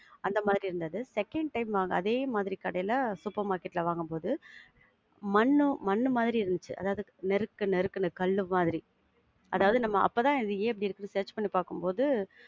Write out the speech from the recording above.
அந்த மாதிரி இருந்துது. second time நாங்க அதே மாதிரி கடைல supermarket ல வாங்கும்போது மண்ணு, மண்ணு மாதிரி இருந்திச்சி. அதாவது நெருக் நெருக்குன்னு கல்லு மாதிரி. அதாவது அப்ப தான் அது ஏன் இப்டி இருக்குன்னு search பண்ணி பாக்கும்போது~